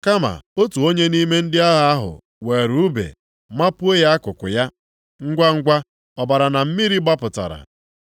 Kama otu onye nʼime ndị agha ahụ weere ùbe mapuo ya akụkụ ya. Ngwangwa ọbara na mmiri gbapụtara.